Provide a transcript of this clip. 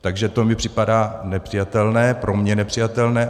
Takže to mi připadá nepřijatelné, pro mě nepřijatelné.